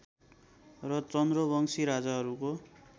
र चन्द्रवंशी राजाहरूको